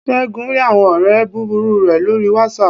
según rí awọn ọrẹ búbúrú re lorí watsap